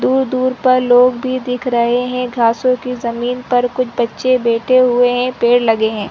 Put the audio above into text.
दूर-दूर पर लोग भी दिख रहै है घासो की जमींन पर कुछ बच्चे बैठे हुए है पेड़ लगे है।